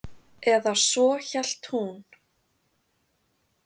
Eða svo hélt hún.